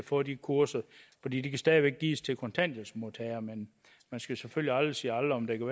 får de kurser for de kan stadig væk gives til kontanthjælpsmodtagere men man skal selvfølgelig aldrig sige aldrig der